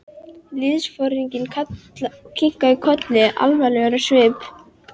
Liðsforinginn kinkaði kolli, alvarlegur á svip.